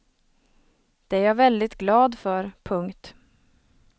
Det är jag väldigt glad för. punkt